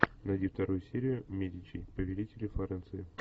найди вторую серию медичи повелители флоренции